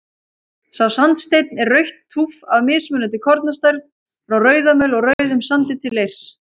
Sá sandsteinn er rautt túff af mismunandi kornastærð, frá rauðamöl og rauðum sandi til leirs.